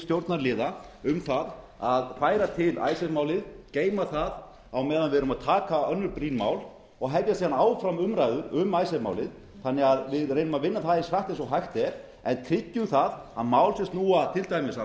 stjórnarliða um að færa til icesave málið geyma það á meðan við erum að taka önnur brýn mál og hefja síðan áfram umræður um icesave málið þannig að við reynum að vinna það eins hratt og hægt er en tryggjum það að mál sem snúa til dæmis að